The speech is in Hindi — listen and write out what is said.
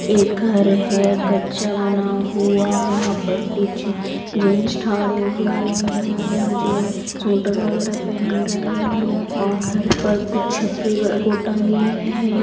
एक घर है कच्चा बना हुआ वहाँ पर कुछ जेंट्स ठहरे हुए हैं जो शूटर वगेरा पेहन रहे हैं और घर पर कुछ छपरे बोर्ड टंगे हैं ।